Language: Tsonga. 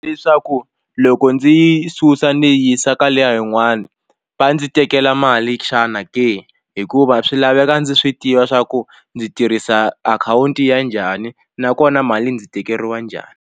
Leswaku loko ndzi yi susa ni yi yisa ka liya yin'wani va ndzi tekela mali xana ke hikuva swi laveka ndzi swi tiva swa ku ndzi tirhisa akhawunti ya njhani nakona mali ndzi tekeriwa njhani.